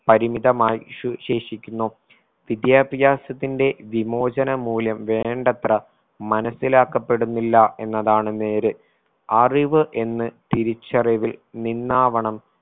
പരിമിതമായി സുവി ശേഷിക്കുന്നു വിദ്യാഭ്യാസത്തിന്റെ വിമോചന മൂല്യം വേണ്ടത്ര മനസിലാക്കപ്പെടുന്നില്ല എന്നതാണ് നേര് അറിവ് എന്ന് തിരിച്ചറിവിൽ നിന്നാവണം